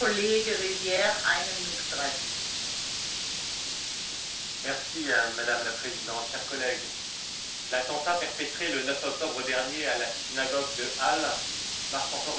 Madame la Présidente, chers collègues, l'attentat perpétré le 9 octobre dernier à la synagogue de Halle marque encore une fois le retour de l'antisémitisme sur notre continent, et ce depuis plusieurs années.